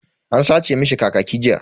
An sace mishi kakaki jiya.